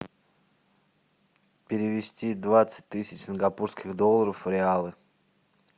перевести двадцать тысяч сингапурских долларов в реалы